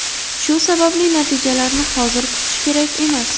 Shu sababli natijalarni hozir kutish kerak emas.